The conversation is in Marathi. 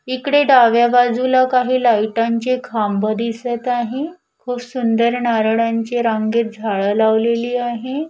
इकडे डाव्या बाजूला काही लाईटांचे खांब दिसत आहे खूप सुंदर नारळांचे रांगेत झाड लावलेली आहे.